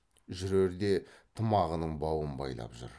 жүрерде тымағыңның бауын байлап жүр